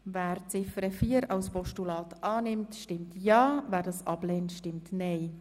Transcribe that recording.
Wer Ziffer 4 als Postulat annehmen will, stimmt Ja, wer dies ablehnt, stimmt Nein.